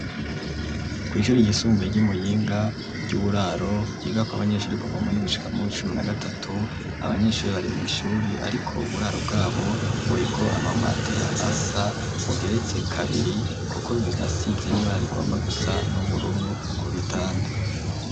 Kw,ishuri yisumbue ry'imuyinga ry'uburaro yiga kw'abanyeshuri kuva ume ni gucika mu cumi na gatatu abanyeshuri bari mu ishuri ariko uburaro bwabo buriko amamatera asa ugeretse kabiri kuko bisinosids nibarrigomba gusa n'ubururu ku bitanda.